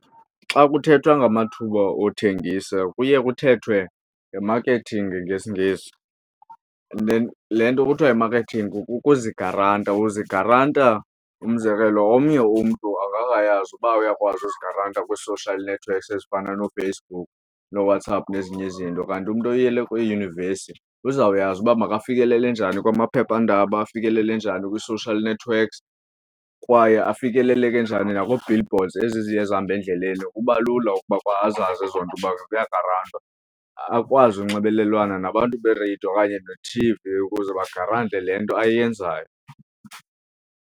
Xa kuthethwa ngamathuba othengisa kuye kuthethwe nge-marketing ngesiNgesi, le nto kuthiwa yi-marketing kukuzigaranta uzigaranta umzekelo omnye umntu akakazi uba uyakwazi uzigaranta kwi-social networks ezifana nooFacebook nooWhatsApp nezinye izinto. Kanti umntu oyile kwiiyunivesi uzawuyazi uba makafikelele njani kwamaphephandaba, afikelele njani kwii-social networks kwaye afikeleleke njani nakwii-billboards ezi ziye zihambe endleleni, kuba lula ukuba kwa azazi ezo nto uba kuya kugarantwa. Akwazi unxibelelana nabantu nereyido okanye nethivi ukuze bagarante le nto ayenzayo.